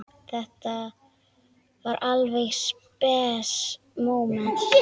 Þetta var alveg spes móment.